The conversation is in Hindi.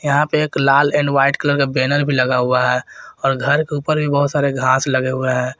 यहां पे एक लाल एंड व्हाइट कलर का बैनर भी लगा हुआ है और घर के ऊपर भी बहुत सारे घास लगे हुए हैं।